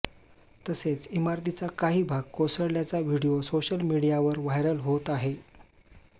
तसेच इमारतीचा काही भाग कोसळल्याचा व्हिडिओ सोशल मिडियावर व्हायरल होत आहे